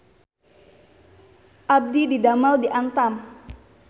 Abdi didamel di Antam